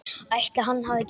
Ætli hann hafi gert það?